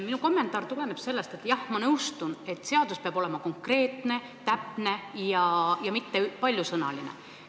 Minu kommentaar tuleneb sellest, et jah, ma nõustun, et seadus peab olema konkreetne, täpne ja mitte paljusõnaline.